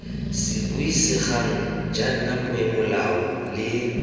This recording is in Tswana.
se buisegang jaana peomolao le